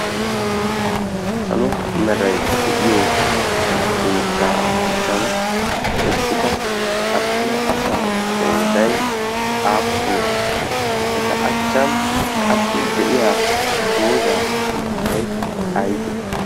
salo meray de'iyo keeta achchan eqqida attuma asa qoodai aappunee eta achchan qassi de'iya doozaa sunttai aybee?